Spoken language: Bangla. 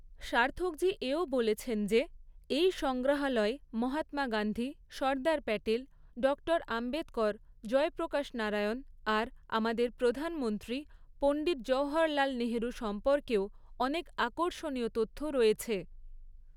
সার্থকজী এও বলেছেন যে, এই সংগ্রহালয়ে মহাত্মা গান্ধী, সর্দার প্যাটেল, ডক্টর আম্বেদকর, জয়প্রকাশ নারায়ণ আর আমাদের প্রধানমন্ত্রী পণ্ডিত জওহরলাল নেহরু সম্পর্কেও অনেক আকর্ষণীয় তথ্য রয়েছে।